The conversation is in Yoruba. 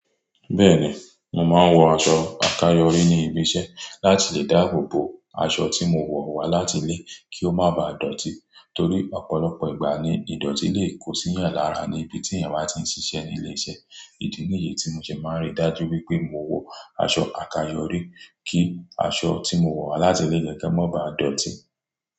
Bẹ́ẹ̀ni, mo máa ń wọ aṣọ àkáyọrí ní ibi iṣẹ́ láti lè dáàbò bo aṣọ tí mo wọ̀ wá láti ilé kí ó má ba dọ̀tí. Torí ọ̀pọ̀lọpọ̀ ìgbà ni ìdọ̀tí lè kó sí yan lara níbi tí èèyàn bá ti ń ṣiṣẹ́ ní ilé-iṣẹ́. Ìdí nìyi tí mo ṣe máa ń ríi dájú wípé mo wọ aṣọ àkáyọrí kí aṣọ tí mo wọ̀ wá láti ilé gángán má baá dọ̀tí.